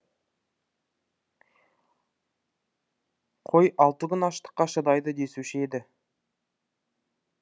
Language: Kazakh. қой алты күн аштыққа шыдайды десуші еді